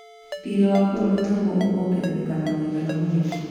Thirĩ wa bũrũri naguo ũkongerereka na mũigana mũnene